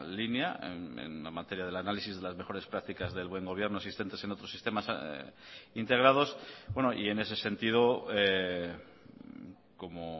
línea en la materia del análisis de las mejores practicas del buen gobierno existentes en otros sistemas integrados y en ese sentido como